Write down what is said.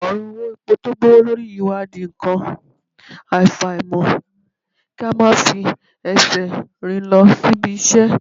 Ọ̀rọ̀ owó epo tó gbówó lórí yìí wá di nǹkan, àfàìmọ̀ kí a máa fi ẹsẹ̀ rìn lọ sí ibi-iṣẹ́